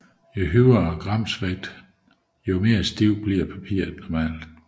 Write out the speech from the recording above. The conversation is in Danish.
Jo højere gramvægt desto stivere bliver papiret normalt